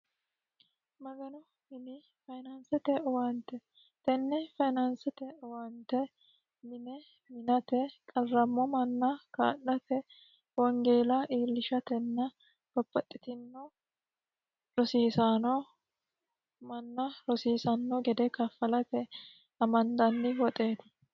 Maganu mini fayinaanisete owaanite tenne finaanisete owaanitte mine minate qarrammo manna kaa'late wonigela iilishate babbaxitinno